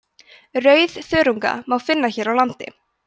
rauðþörunga má finna hér á landi